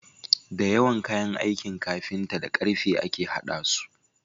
Dayawan kayan aikin carpinta da karfe ake hada su